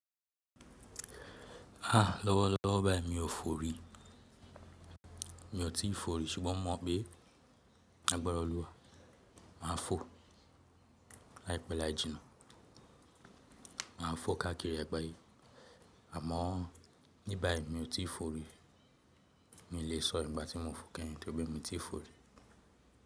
Lọ́wọ́lọ́wọ́ báyìí mi ò fò rí, mi ò tíì fò rí ṣùgbọ́n mo mọ̀ pé ní agbára Ọlọ́run máa fò láìpẹ́ láì jìnnà. Màá fò káàkiri àgbáyé àmọ́ ní báyìí mi ò tíì fò rí. Mi lè sọ ígbà tí mo fò kẹ̀yin tọ́ri pé mi ti fò rí.